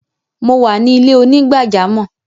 Mo wà ni ilẹ̀-onígbàjàmọ́.